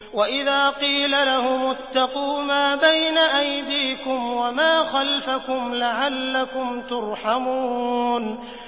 وَإِذَا قِيلَ لَهُمُ اتَّقُوا مَا بَيْنَ أَيْدِيكُمْ وَمَا خَلْفَكُمْ لَعَلَّكُمْ تُرْحَمُونَ